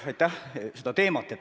Aitäh!